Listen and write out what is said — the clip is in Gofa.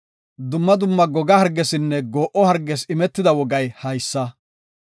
“Dumma dumma goga hargeesinne goo7o hargees imetida wogay haysa.